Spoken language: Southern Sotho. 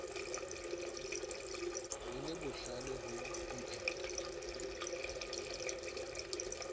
le le bohlale ho mpheta